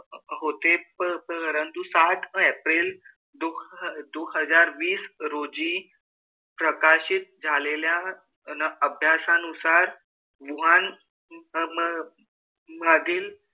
होते. परंतु सात एप्रिल हजार वीस रोजी प्रकाशित झालेल्या अन अभ्यासानुसार वूहान अन मधील,